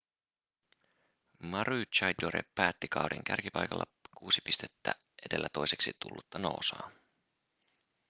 maroochydore päätti kauden kärkipaikalla kuusi pistettä edellä toiseksi tullutta noosaa